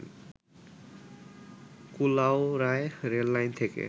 কুলাউড়ায় rail line থেকে